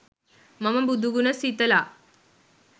මම බුදු ගුණ සිතල